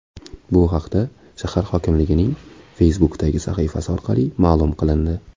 Bu haqda shahar hokimliginin Facebook’dagi sahifasi orqali ma’lum qilindi .